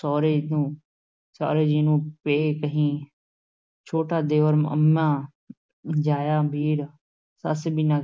ਸਹੁਰੇ ਨੂੰ ਸਹੁਰੇ ਜੀ ਨੂੰ ਪੇ ਕਹੀਂ, ਛੋਟਾ ਦਿਓਰ ਅੰਮਾਂ ਜਾਇਆ ਵੀਰ, ਸੱਸ ਬਿਨਾਂ